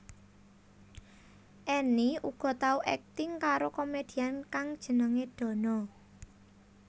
Enny uga tau akting karo komedian kang jenengé Dono